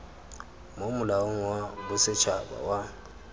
mo molaong wa bosetshaba wa